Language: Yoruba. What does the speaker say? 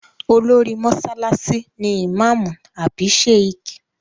Olórí mọ́sálásí ni ìmáàmù àbí Sheikh